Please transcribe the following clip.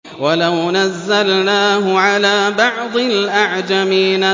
وَلَوْ نَزَّلْنَاهُ عَلَىٰ بَعْضِ الْأَعْجَمِينَ